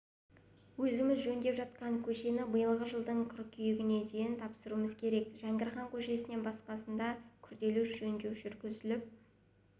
өзіміз жөндеп жатқан көшені биылғы жылдың қыркүйегіне дейін тапсыруымыз керек жәңгірхан көшесінен басқасында күрделі жөндеу жүргізіліп